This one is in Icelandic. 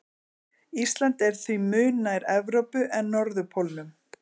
Ísland er því mun nær Evrópu en norðurpólnum.